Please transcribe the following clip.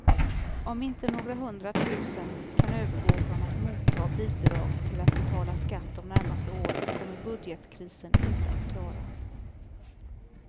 Om inte några hundra tusen kan övergå från att motta bidrag till att betala skatt de närmaste åren kommer budgetkrisen inte att klaras.